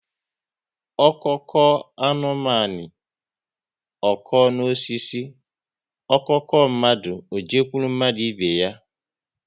Ọko koo anụmanụ, ọ kọọ n'osisi, ọ kọọ mmadụ, ọ jekwuru mmadụ ibe ya